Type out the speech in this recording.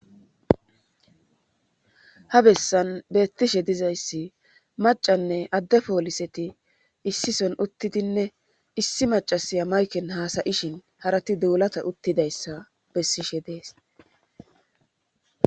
Ha bessan beettishe dizayssi macanne adde pooliseti issison uttidinne issi macasiya mayken haasayishin harati duulata uttidayssa bessishe dees.